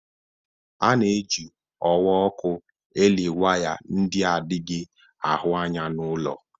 A na-eji ọwa ọkụ eli waya nke adịghị ahụ anya n'ulọ.